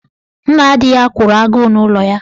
Nna di ya kwụrụ agụụ n'ụlọ ya.